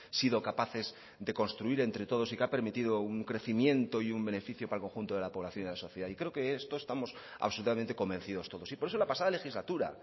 sido capaces de construir entre todos y que ha permitido un crecimiento y un beneficio para el conjunto de la población y de la sociedad y creo que esto estamos absolutamente convencidos todos y por eso la pasada legislatura